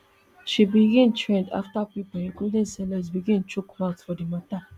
she begin trend afta pipo including celebs begin chook mouth for di mata